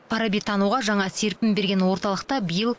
фарабитануға жаңа серпін берген орталықта биыл